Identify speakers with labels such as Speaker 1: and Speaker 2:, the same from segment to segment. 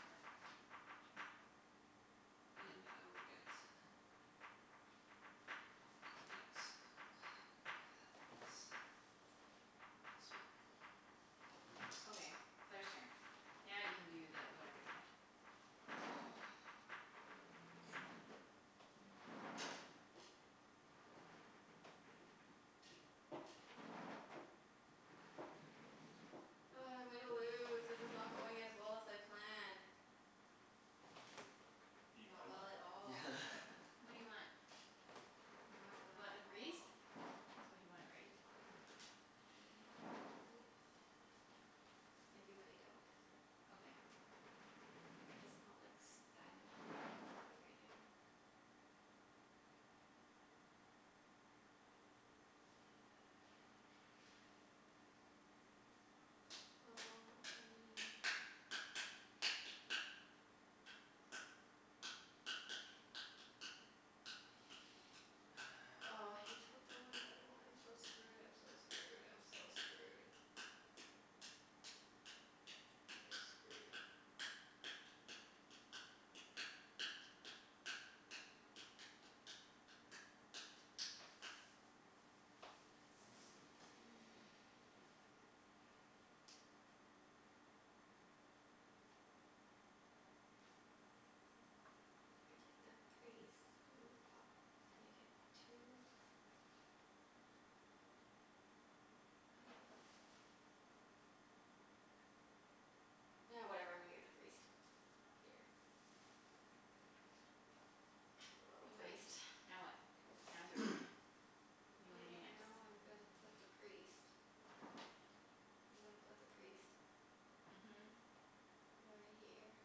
Speaker 1: turn. And I will get Thanks. This one.
Speaker 2: Okay, Claire's turn. Now you can do the whatever you want.
Speaker 3: Ugh, I'm gonna lose. This is not going as well as I planned.
Speaker 4: Do you
Speaker 3: Not
Speaker 4: plan well?
Speaker 3: well at all.
Speaker 2: What do you want?
Speaker 3: Not
Speaker 2: You
Speaker 3: well
Speaker 2: want
Speaker 3: at
Speaker 2: the priest?
Speaker 3: all.
Speaker 2: That's what you wanted, right?
Speaker 3: Not really. I do and I don't.
Speaker 2: Okay.
Speaker 3: It's not like s- that important that I do it right now. Well, I mean Oh, he took the one that I wanted. I'm so screwed, I'm so screwed, I'm so screwed. I'm just screwed. If I get the priest and move up, then I get two I Ah, whatever, I'm gonna get the priest. Here. A little
Speaker 2: Okay,
Speaker 3: priest.
Speaker 2: now what? Now it's your turn. What do you wanna do
Speaker 3: Yeah,
Speaker 2: next?
Speaker 3: now I'm gonna put the priest I'm gonna put the priest
Speaker 2: Mhm.
Speaker 3: right here.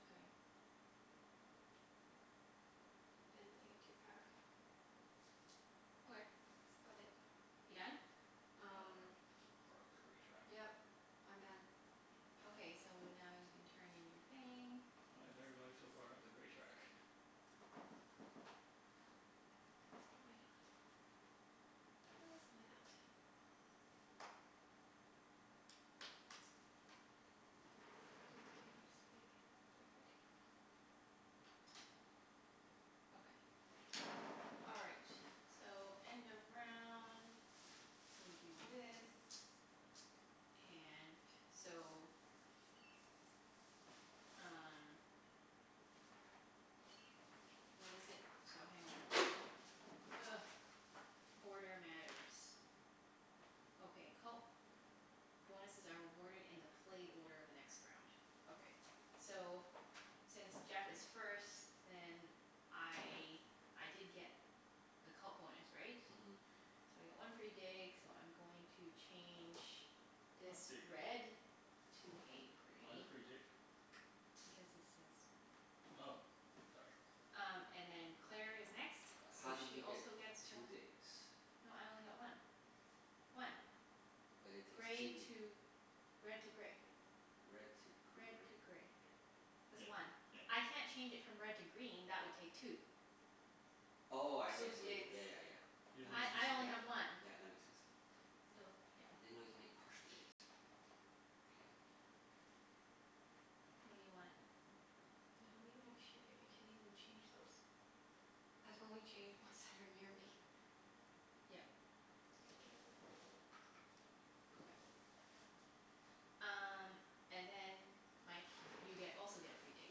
Speaker 2: Mkay.
Speaker 3: And then I get two power.
Speaker 2: Okay.
Speaker 3: That's about it.
Speaker 2: You done?
Speaker 4: Wow,
Speaker 3: Um
Speaker 4: everyone is so far up the gray track.
Speaker 3: Yep, I'm done.
Speaker 4: Damn.
Speaker 2: Okay, so now you can turn in your thing.
Speaker 4: Why is everybody so far up the gray track?
Speaker 3: Cuz why not? Cuz why not? Mkay, I'm just gonna get every dig.
Speaker 2: Okay. All right, so end of round. So we do this, and so Um What is it? So hang on. Ugh. Order matters. Okay, cult bonuses are awarded in the play order of the next round. Okay. So since Jeff is first then I, I did get the cult bonus, right?
Speaker 1: Mhm.
Speaker 2: So I get one free dig so I'm going to change
Speaker 4: Not
Speaker 2: this
Speaker 4: dig,
Speaker 2: red. To
Speaker 4: is it?
Speaker 2: a
Speaker 4: Why the
Speaker 2: gray.
Speaker 4: free dig?
Speaker 2: Because it says right there.
Speaker 4: Oh, sorry.
Speaker 2: Um and then Claire is next,
Speaker 1: Uh how
Speaker 2: so
Speaker 1: did
Speaker 2: she
Speaker 1: you get
Speaker 2: also gets
Speaker 1: two
Speaker 2: one.
Speaker 1: digs?
Speaker 2: No, I only got one. One.
Speaker 1: But it takes
Speaker 2: Gray
Speaker 1: two
Speaker 2: to, red to gray.
Speaker 1: Red to
Speaker 2: Red
Speaker 1: gray.
Speaker 2: to gray. That's
Speaker 4: Yeah
Speaker 2: one.
Speaker 4: yeah.
Speaker 2: I can't change it from red to green. That would take two.
Speaker 1: Oh, I see I
Speaker 3: Two
Speaker 1: see what you did.
Speaker 3: digs.
Speaker 1: Yeah yeah yeah.
Speaker 4: She
Speaker 1: That
Speaker 4: doesn't
Speaker 1: makes
Speaker 2: I
Speaker 1: sense.
Speaker 2: I only
Speaker 1: Yeah,
Speaker 2: have one.
Speaker 1: yeah, that makes sense.
Speaker 2: So, yeah.
Speaker 1: I didn't know you could make partial digs. K.
Speaker 2: What do you want?
Speaker 3: I don't even have shipping. I can't even change those. I can only change ones that are near me.
Speaker 2: Yep.
Speaker 3: Mkay, whatever.
Speaker 2: Okay. Um and then Mike you get also get a free dig.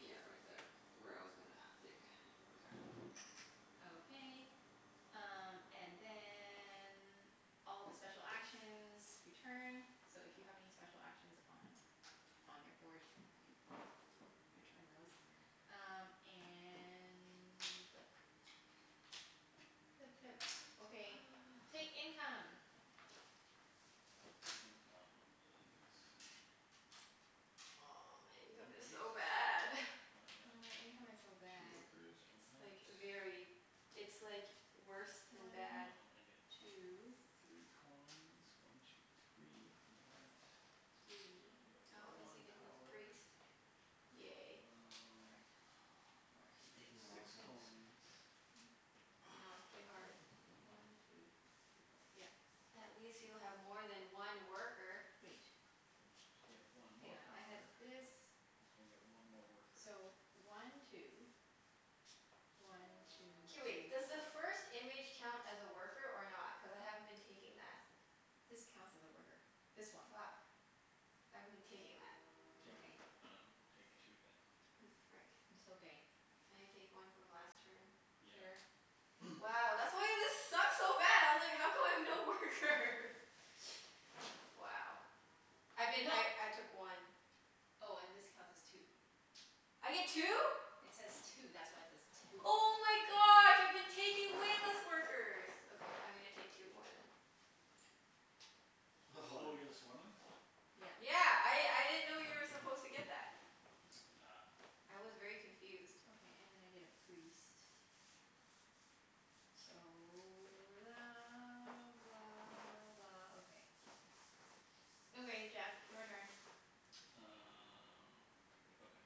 Speaker 1: Yeah, right there where I was gonna dig earlier.
Speaker 2: Okay. Um and then all the special actions return. So if you have any special actions on on your board, you can return those. Um and we flip. Flip, flip. Okay, take income.
Speaker 4: Income is
Speaker 3: Oh, my income
Speaker 4: One
Speaker 3: is
Speaker 4: priests.
Speaker 3: so bad.
Speaker 4: And I got
Speaker 2: Yeah, my income is so
Speaker 4: two
Speaker 2: bad.
Speaker 4: workers for
Speaker 3: It's
Speaker 4: that.
Speaker 3: like very, it's like worse
Speaker 2: One
Speaker 3: than
Speaker 2: two.
Speaker 4: Um
Speaker 3: bad.
Speaker 4: I get three coins, one two three, from that. I
Speaker 2: Three.
Speaker 4: get
Speaker 3: Oh, at least I
Speaker 4: one
Speaker 3: get a little
Speaker 4: power.
Speaker 3: priest. Yay.
Speaker 1: Frick,
Speaker 4: Um
Speaker 1: I keep
Speaker 4: I get
Speaker 1: taking the wrong
Speaker 4: six
Speaker 1: things.
Speaker 4: coins.
Speaker 3: I
Speaker 2: I
Speaker 3: know. It's
Speaker 2: know,
Speaker 3: pretty hard.
Speaker 2: it's pretty hard. One two three four. Yep.
Speaker 3: At least you have more than one worker.
Speaker 2: Wait.
Speaker 4: I get
Speaker 2: Hang
Speaker 4: one more
Speaker 2: on.
Speaker 4: power.
Speaker 2: I had
Speaker 4: And I get one more
Speaker 2: this,
Speaker 4: worker.
Speaker 2: so one two, one two
Speaker 3: K,
Speaker 2: three
Speaker 3: wait. Does the first image count as a worker or not? Cuz I haven't been taking that.
Speaker 2: This counts as a worker. This one.
Speaker 3: Fuck. I haven't been taking that.
Speaker 4: Take, I dunno, take two then.
Speaker 3: Oh, frick.
Speaker 2: It's okay.
Speaker 3: Can I take one from last turn?
Speaker 2: Sure.
Speaker 4: Yeah.
Speaker 3: Wow, that's why this sucked so bad. I was like, how come I have no workers? Wow. I've been,
Speaker 2: No.
Speaker 3: I I took one.
Speaker 2: Oh, and this counts as two.
Speaker 3: I get two?
Speaker 2: It says two. That's why it says two.
Speaker 3: Oh my gosh, I've been taking way less workers. Okay, I'm gonna take two more then.
Speaker 4: Oh you got the swarmlings?
Speaker 2: Yeah.
Speaker 3: Yeah. I
Speaker 4: Ah.
Speaker 3: I didn't know you were supposed to get that.
Speaker 4: Ah.
Speaker 3: I was very confused.
Speaker 2: Okay, and then I get a priest. So la blah blah, okay. Okay Jeff, your turn.
Speaker 4: Uh okay.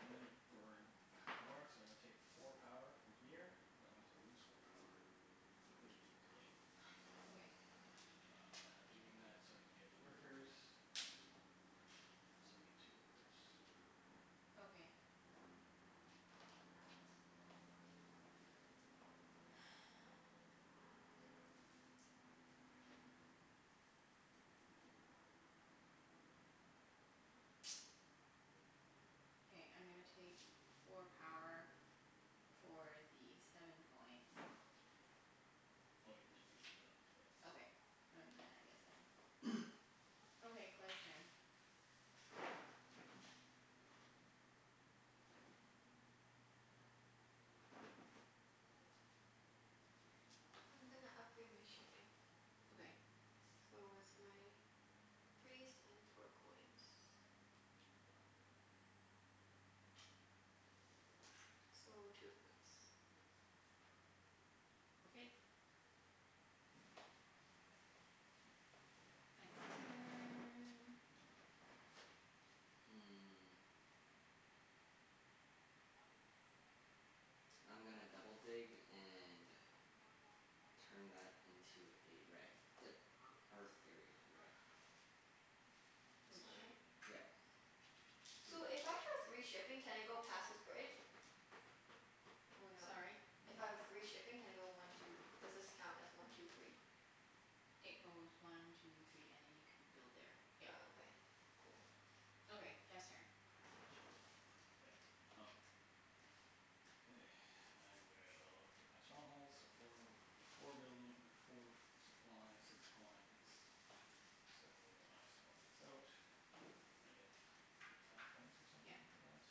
Speaker 4: I'm gonna burn power, so I'm gonna take four power from here. That means I lose four power completely from the game.
Speaker 2: Okay.
Speaker 4: Uh and I'm doing that so I can get the workers. Oh, so I get two workers.
Speaker 2: Okay. Okay, I'm gonna take four power for the seven coins.
Speaker 4: Oh yeah, and I
Speaker 2: Okay. And then I get seven. Okay, Claire's turn.
Speaker 3: I'm gonna upgrade my shipping.
Speaker 2: Okay.
Speaker 3: So it's my priest and four coins. So, two points.
Speaker 2: Okay. Mike's turn.
Speaker 1: Hmm. I'm gonna double dig and turn that into a red. The e- earth area into a red.
Speaker 3: This
Speaker 2: Which
Speaker 3: one, right?
Speaker 1: Yep. Two.
Speaker 3: So, if I have three shipping can I go past this bridge? Or no?
Speaker 2: Sorry?
Speaker 3: If I have three shipping can I go one two, does this count as one two three?
Speaker 2: It goes one two three and then you can build there,
Speaker 3: Oh,
Speaker 2: yep.
Speaker 3: okay. Cool.
Speaker 2: Okay, Jeff's turn.
Speaker 4: Okay, um Okay. I will get my stronghold, so four w- four building or four supply, six coins. So I swap this out. I get f- I get five points or
Speaker 2: Yep.
Speaker 4: something for that?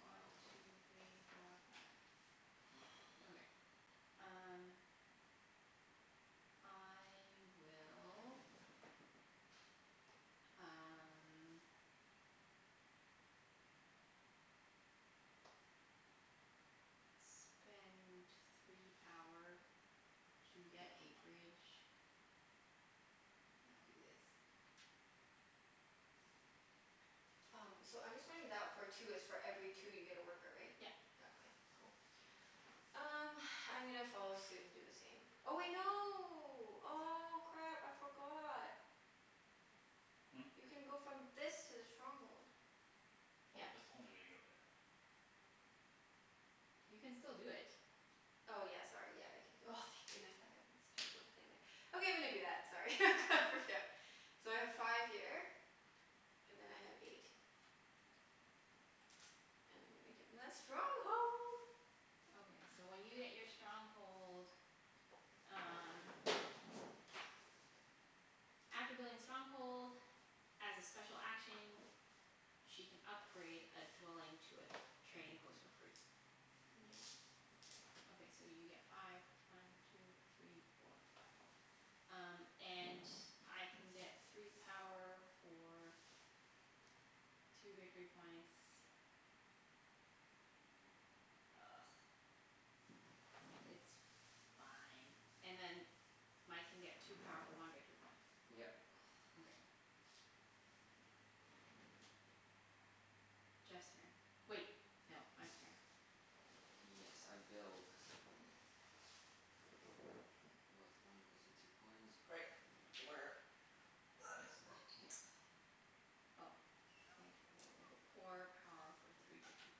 Speaker 1: Wow.
Speaker 2: One two three four five. Okay, um I will um spend three power to get a bridge. And I'll do this.
Speaker 3: Um, so I'm just wondering that for two, it's for every two you get a worker, right?
Speaker 2: Yep.
Speaker 3: Oh, okay. Cool. Um, I'm gonna follow suit and do the same. Oh wait, no. Oh, crap. I forgot.
Speaker 4: Hmm?
Speaker 3: You can go from this to the stronghold.
Speaker 4: Oh,
Speaker 2: Yep.
Speaker 4: that's the only way to go there.
Speaker 2: You can still do it.
Speaker 3: Oh yeah, sorry. Yeah. I c- c- oh, thank goodness, I had a stupid little thing there. Okay, I'm gonna do that. Sorry, I got freaked out. So I have five here and then I have eight. And I'm gonna get my stronghold.
Speaker 2: Okay, so when you get your stronghold um After building a stronghold, as a special action, she can upgrade a dwelling to a trading post for free.
Speaker 3: Yeah.
Speaker 2: Okay, so you get five. One two three four five. Um and I can get three power for two victory points. Ugh. It's fine. And then Mike can get two power for one
Speaker 1: Yep.
Speaker 2: victory point. Okay. Jeff's turn. Wait, no. Mike's turn.
Speaker 1: Yes, I build. With one and two coins. Right. Where That is right here.
Speaker 2: Oh, okay. Four power for three victor-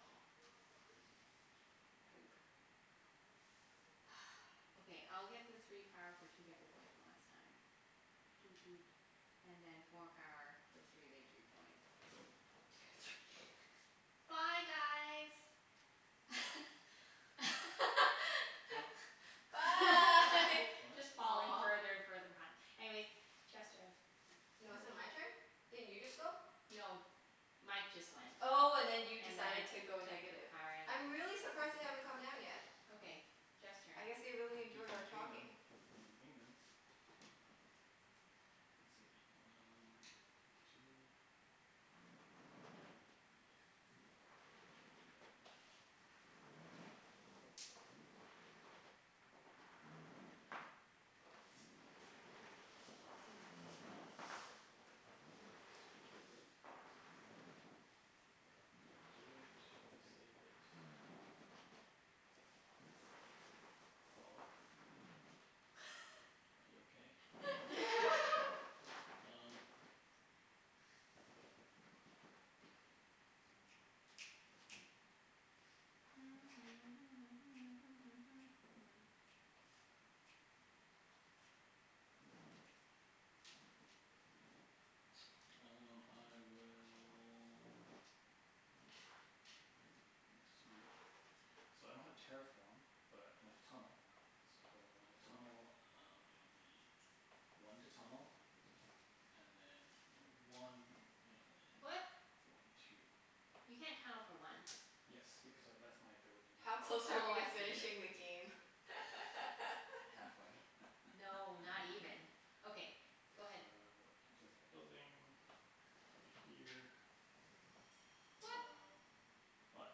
Speaker 2: oh Poop. Okay, I'll get the three power for two victory points one last time. Doot doot. And then four power for three victory points. Two three Bye guys.
Speaker 4: Huh?
Speaker 3: Bye.
Speaker 4: What?
Speaker 2: Just falling
Speaker 3: Aw.
Speaker 2: further and further behind. Anyways, Jeff's turn.
Speaker 4: I
Speaker 3: No, is it
Speaker 4: dunno.
Speaker 3: my turn? Didn't you just go?
Speaker 2: No, Mike just went.
Speaker 3: Oh, and then you
Speaker 2: And then
Speaker 3: decided
Speaker 2: I
Speaker 3: to go
Speaker 2: took the
Speaker 3: negative.
Speaker 2: power
Speaker 3: I'm really surprised they haven't come down yet.
Speaker 2: Okay. Jeff's turn.
Speaker 3: I guess they really
Speaker 4: You
Speaker 3: enjoy
Speaker 4: can
Speaker 3: our
Speaker 4: ping them.
Speaker 3: talking.
Speaker 4: You can ping them. Uh let's see, um Two priest. If I do that now Priest priest priest priest. Do I do it? Do I save it? Hello? Are you okay? Um Um I will That's sweet. So I don't have terraform but I'm gonna tunnel. So when I tunnel um it'll be one to tunnel, and then one and then
Speaker 2: What?
Speaker 4: one two.
Speaker 2: You can't tunnel for one.
Speaker 4: Yes, because tha- that's my ability
Speaker 3: How close
Speaker 4: now.
Speaker 3: are
Speaker 2: Oh,
Speaker 3: we to
Speaker 2: I see.
Speaker 4: Yeah.
Speaker 3: finishing the game?
Speaker 1: Halfway.
Speaker 2: No, not even. Okay,
Speaker 4: So,
Speaker 2: go ahead.
Speaker 4: I place my building over here.
Speaker 2: What?
Speaker 4: Um what?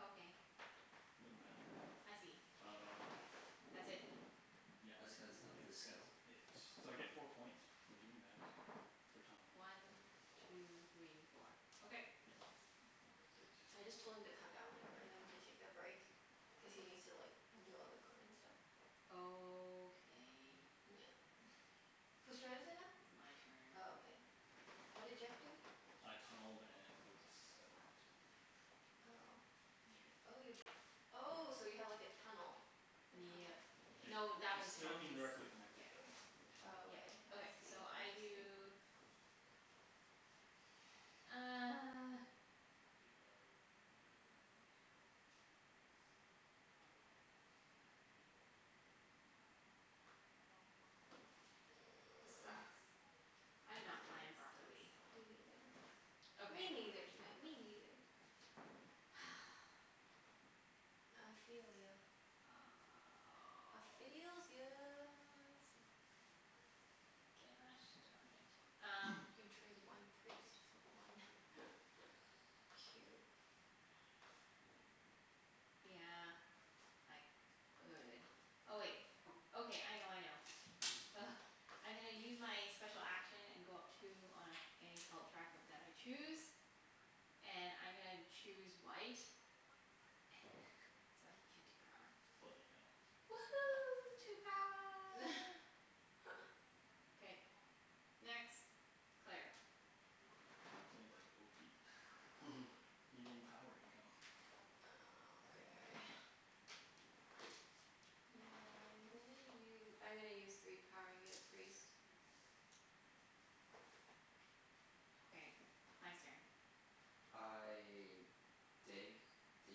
Speaker 2: Okay.
Speaker 4: It doesn't matter.
Speaker 2: I see.
Speaker 4: Um
Speaker 2: That's it.
Speaker 4: Yeah,
Speaker 1: That's cuz
Speaker 4: I
Speaker 1: of
Speaker 4: think
Speaker 1: this skill?
Speaker 4: that's it. So I get four points for doing that. For tunneling.
Speaker 2: One two three four. Okay.
Speaker 4: Yeah, I think that's
Speaker 3: I just
Speaker 4: it.
Speaker 3: told him to come down whenever and then we can take a break. Cuz he needs to like undo all the equipment and stuff.
Speaker 2: Okay.
Speaker 3: Yeah. Whose turn is it now?
Speaker 2: It's my turn.
Speaker 3: Oh, okay. What did Jeff do?
Speaker 4: I tunneled and built a settlement.
Speaker 3: Oh, inter- oh you, oh so you have like a tunnel, a tunnel?
Speaker 2: Yep.
Speaker 4: It
Speaker 2: No, that
Speaker 4: it's
Speaker 2: was
Speaker 4: still
Speaker 2: from his,
Speaker 3: Interesting.
Speaker 4: indirectly connected
Speaker 2: yeah,
Speaker 4: though.
Speaker 2: anyway.
Speaker 3: Oh,
Speaker 2: Yep.
Speaker 3: okay. I
Speaker 2: Okay,
Speaker 3: see.
Speaker 2: so I
Speaker 3: Interesting.
Speaker 2: do This sucks. I
Speaker 3: Yeah,
Speaker 2: did not plan
Speaker 3: this sucks.
Speaker 2: properly.
Speaker 3: Me neither. Me
Speaker 2: Okay.
Speaker 3: neither, Junette, me neither. I feel ya. I feels ya.
Speaker 2: Sucks. Gosh darn it. Um
Speaker 3: You can trade one priest for one cube.
Speaker 2: Yeah, I could. Oh, wait. Okay, I know, I know. Ugh. I'm gonna use my special action and go up two on any cult track of that I choose. And I'm gonna choose white. So I can get two power.
Speaker 4: Bloody hell.
Speaker 2: Woohoo, two power. K. Next. Claire.
Speaker 4: Sounded like You getting power income.
Speaker 3: Oh, okay. Yeah, I'm gonna u- I'm gonna use three power and get a priest.
Speaker 2: Okay. Mike's turn.
Speaker 1: I dig the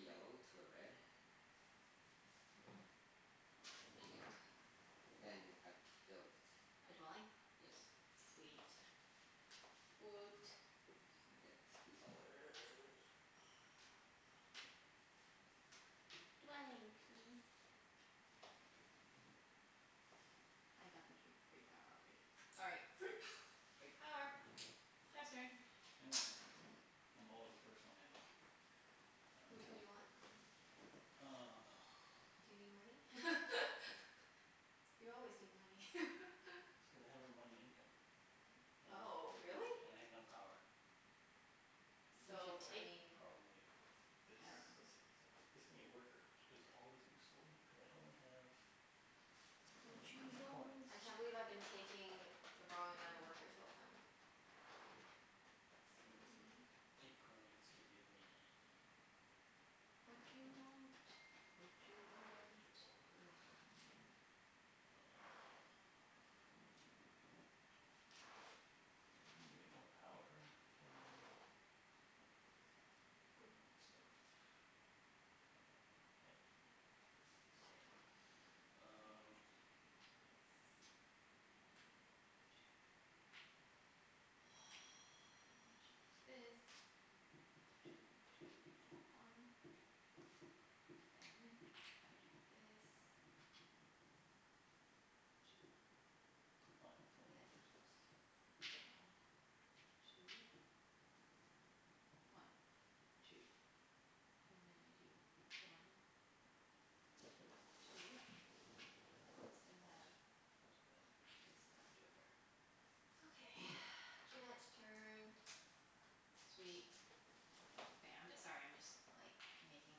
Speaker 1: yellow to a red. Yeah. And I build.
Speaker 2: A dwelling?
Speaker 1: Yes.
Speaker 2: Sweet. Woot.
Speaker 1: And I get three dollar.
Speaker 2: Dwelling peas. I got the tree free power already. All right.
Speaker 1: Free power.
Speaker 2: Free power. Jeff's turn.
Speaker 4: End my turn. I'm always the first one ending.
Speaker 3: Which one do you want?
Speaker 4: Um
Speaker 3: Do you need money? You always need money.
Speaker 4: That's cuz I have no money income, uh
Speaker 3: Oh, really?
Speaker 4: and I have no power.
Speaker 2: You
Speaker 4: So,
Speaker 3: So,
Speaker 2: should
Speaker 3: I
Speaker 2: take,
Speaker 3: mean
Speaker 4: probably this?
Speaker 2: I dunno.
Speaker 4: Let's see. So, this could be a worker which is always useful, cuz I only have I have
Speaker 2: Watchu
Speaker 4: eight coins.
Speaker 2: want?
Speaker 3: I can't believe I've been taking the wrong amount of workers the whole time. Silly me.
Speaker 4: Eight coins would give me
Speaker 2: Watchu want? Watchu want?
Speaker 4: more workers. Um To get more power I can burn stuff. Well, I have three, so
Speaker 2: Great. I'm gonna
Speaker 4: Um
Speaker 2: change this. And change this. Two two and a one. Then if I do this, two
Speaker 4: Five
Speaker 2: and
Speaker 4: coin
Speaker 2: then
Speaker 4: versus one
Speaker 2: one
Speaker 4: coin.
Speaker 2: two. One two. And then I do one
Speaker 4: What?
Speaker 2: two. Still have
Speaker 4: I'll take that.
Speaker 2: this left over.
Speaker 3: Okay, Junette's turn.
Speaker 2: Sweet. Okay, I'm j- sorry, I'm just like making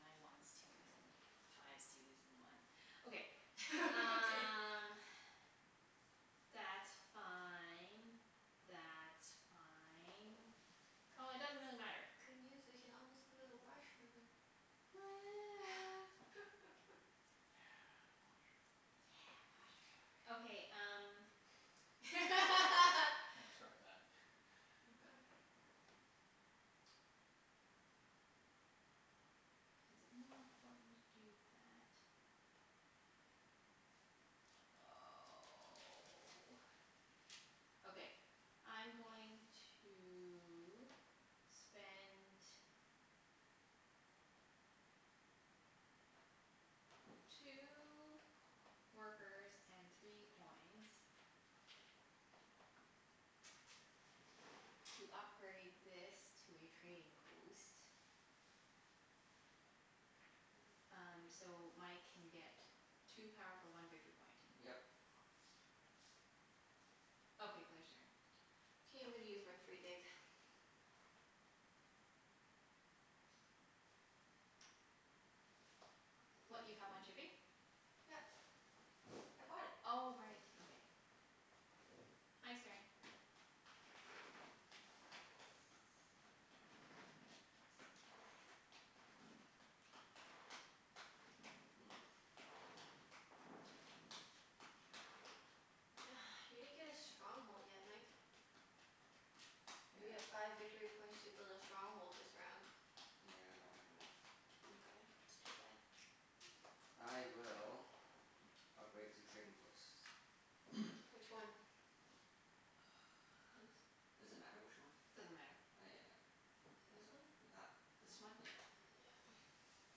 Speaker 2: my ones twos and fives twos and ones. Okay.
Speaker 3: Okay.
Speaker 2: Um that's fine. That's fine. Oh, it doesn't
Speaker 3: Guys,
Speaker 2: really matter.
Speaker 3: good news. We can almost go to the washroom.
Speaker 2: Woo.
Speaker 4: Yeah, washroom.
Speaker 2: Yeah,
Speaker 3: Yeah,
Speaker 2: washroom. Okay, um
Speaker 3: washroom.
Speaker 4: Transcribe that.
Speaker 3: Oh my gosh.
Speaker 2: Is it more important to do that? Oh. Okay, I'm going to spend two workers and three coins to upgrade this to a trading post. Um so Mike can get two power for one victory point.
Speaker 1: Yep.
Speaker 2: Okay, Claire's turn.
Speaker 3: K, I'm gonna use my free dig.
Speaker 2: What, you have one shipping?
Speaker 3: Yep. I bought it.
Speaker 2: Oh right. Okay. Mike's turn.
Speaker 1: Hmm.
Speaker 3: You didn't get a stronghold yet, Mike. You get
Speaker 1: Yeah.
Speaker 3: five victory points to build a stronghold this round.
Speaker 1: Yeah, I don't have enough.
Speaker 3: Mkay, that's too bad.
Speaker 1: I will upgrade two trading posts.
Speaker 3: Which one?
Speaker 1: Does it matter which one?
Speaker 2: Doesn't matter.
Speaker 1: Oh
Speaker 3: This
Speaker 1: yeah,
Speaker 3: one?
Speaker 1: th- that this
Speaker 2: This
Speaker 1: one.
Speaker 2: one?
Speaker 1: Yeah.
Speaker 3: Yeah.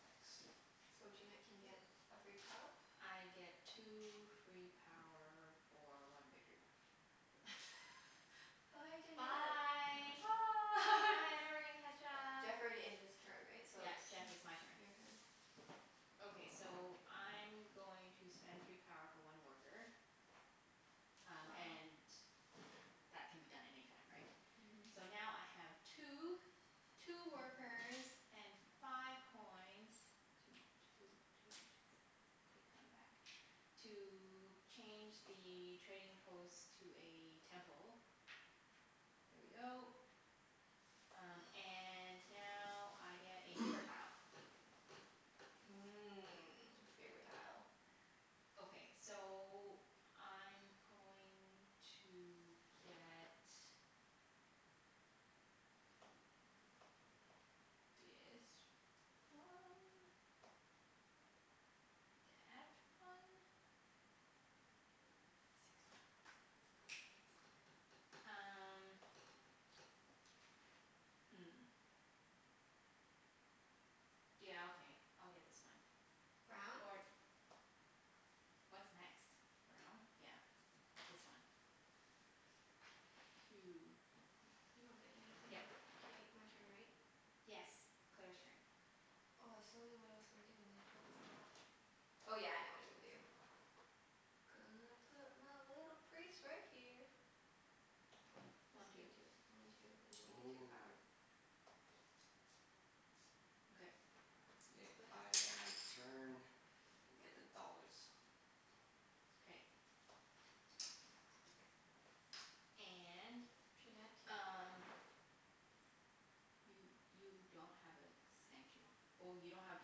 Speaker 1: Thanks.
Speaker 3: So Junette
Speaker 1: Yeah.
Speaker 3: can get a free power?
Speaker 2: I get two free power for one victory point.
Speaker 3: Bye, Junette.
Speaker 2: Bye.
Speaker 3: Bye.
Speaker 2: Bye, I'm never gonna catch up.
Speaker 3: Jeff already ended his turn, right? So
Speaker 2: Yep,
Speaker 3: it's
Speaker 2: Jeff,
Speaker 4: Yeah.
Speaker 2: it's my turn.
Speaker 3: your turn.
Speaker 2: Okay, so I'm going to spend three power for one worker. Um
Speaker 3: Wow.
Speaker 2: and that can be done any time, right? So
Speaker 3: Mhm.
Speaker 2: now I have two two workers and five coins Toot toot toot. Take one back. To change the trading post to a temple. There we go. Um and now I get a favor tile.
Speaker 3: Mmm, favor tile.
Speaker 2: Okay. So I'm going to get Dis one. Dat one. Six power um hmm. Yeah, okay. I'll get this one.
Speaker 3: Brown?
Speaker 2: Or What's next? Brown? Yeah. This one. Two.
Speaker 3: You don't get anything.
Speaker 2: Yep.
Speaker 3: K, my turn, right?
Speaker 2: Yes. Claire's turn.
Speaker 3: Oh, I so knew what I was gonna do and then I totally forgot. Oh, yeah. I know what I'm gonna do. Gonna put my little priest right here. This
Speaker 2: One two.
Speaker 3: can do one two and then I get two power.
Speaker 2: Okay.
Speaker 1: K,
Speaker 3: That's
Speaker 1: I
Speaker 3: about it.
Speaker 1: end my turn and get the dollars.
Speaker 2: K. And
Speaker 3: Junette?
Speaker 2: um You you don't have a sanctu- oh, you don't have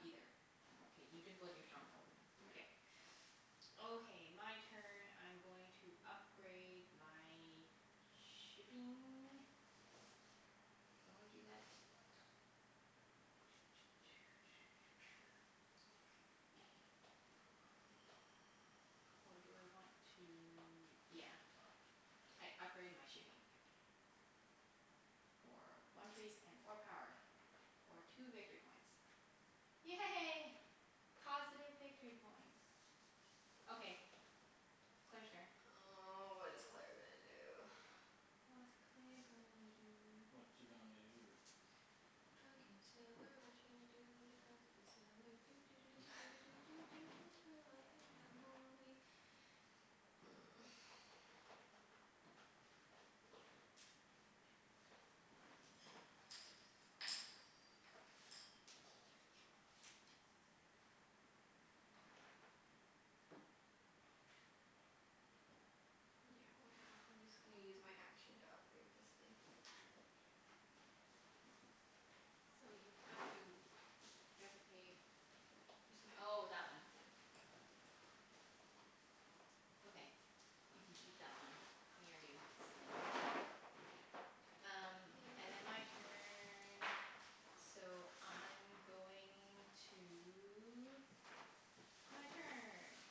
Speaker 2: either. K, you didn't build your stronghold.
Speaker 1: Yeah.
Speaker 2: K. Okay. My turn. I'm going to upgrade my shipping. Do I wanna do that? Or do I want to, yeah. I upgrade my shipping. For one priest and four power. For two victory points. Yay. Positive victory points. Okay, Claire's turn.
Speaker 3: Oh, what is Claire gonna do?
Speaker 2: What's Claire gonna do?
Speaker 4: Watcha gonna do?
Speaker 3: Drunken sailor, watcha gonna do with a drunken sailor, doo doo doo doo doo doo doo doo doo early in the morning. Yeah, why not? I'm just gonna use my action to upgrade this thing.
Speaker 2: So you have to, you have to pay,
Speaker 3: It's my
Speaker 2: oh,
Speaker 3: action.
Speaker 2: that one.
Speaker 3: Yeah.
Speaker 2: Okay. You can keep that one near you so then Um
Speaker 3: Your
Speaker 2: and then
Speaker 3: turn.
Speaker 2: my turn. So I'm going to, my turn.